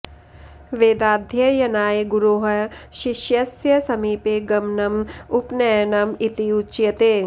वेदाध्ययनाय गुरोः शिष्यस्य समीपे गमनम् उपनयनम् इति उच्यते